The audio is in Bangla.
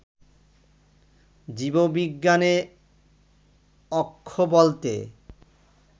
জীববিজ্ঞানে অক্ষ বলতে